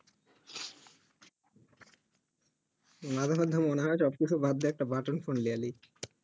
মাঝে মধ্যে মনে হয়ই অতো সব বাদ দিয়া একটা button ফোন নিয়ে নিই